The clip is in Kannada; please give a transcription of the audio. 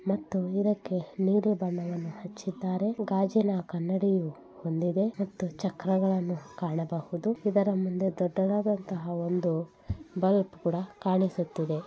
ಮತ್ತು ಇದಕ್ಕೆ ನೀಲಿ ಬಣ್ಣವನ್ನು ಹಚ್ಚಿದ್ದಾರೆ. ಗಾಜಿನ ಕನ್ನಡಿಯು ಹೊಂದಿದೆ ಮತ್ತು ಚಕ್ರಗಳನ್ನು ಕಾಣಬಹುದು ಇದರ ಮುಂದೆ ದೊಡ್ಡದಾದಂತಹ ಒಂದು ಬಲ್ಬ್ ಕೂಡ ಕಾಣಿಸುತ್ತಿದೆ.